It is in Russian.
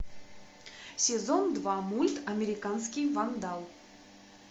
сезон два мульт американский вандал